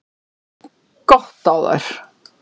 Gott á þær!